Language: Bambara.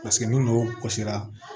Paseke ni n'o kɔsira